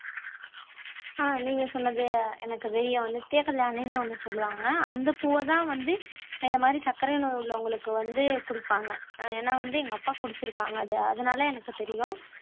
ஆஹ் நீங்க சொன்னது எனக்கு தெரியும் நித்ய கல்யாணின்னு ஒண்ணு சொல்லுவாங்க அந்த பூவைதான் வந்து இந்த மாதிரி சர்க்கரை நோய் உள்ளவங்களுக்கு வந்து கொடுப்பாங்க அஹ் ஏன்னா வந்து எங்க அப்பா குடிச்சிருக்காங்க அது அதனால எனக்கு தெரியும்